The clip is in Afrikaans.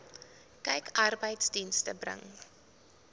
kyk arbeidsdienste bring